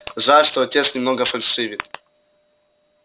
жаль что отец немного фальшивит